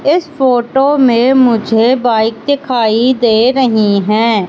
इस फोटो में मुझे बाइक दिखाई दे रही हैं।